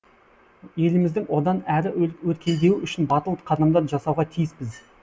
еліміздің одан әрі өркендеуі үшін батыл қадамдар жасауға тиіспіз